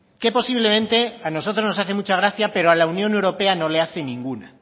que posiblemente a nosotros nos hace mucha gracia pero a la unión europea no le hace ninguna